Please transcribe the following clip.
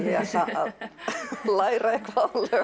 læra eitthvað